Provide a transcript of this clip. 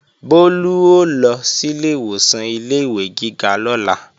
Bólú ó lọ sílé ìwòsàn ilé-ìwé gíga lọ́la